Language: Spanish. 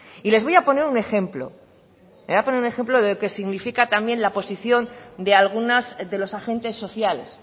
y les voy a poner un ejemplo les voy a poner un ejemplo de lo que significa también la posición de algunas de los agentes sociales